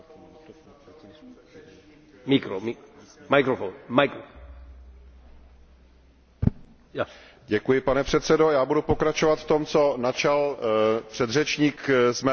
Pane předsedající, já budu pokračovat v tom, co načal předřečník z mé politické skupiny, pan Strejček. Určitě boj s šedou ekonomikou, s daňovými úniky, s kriminálním jednáním